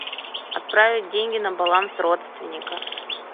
отправить деньги на баланс родственника